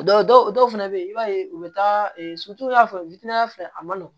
Dɔw dɔw fɛnɛ bɛ yen i b'a ye u bɛ taa sutura fɛ witana fɛ a ma nɔgɔn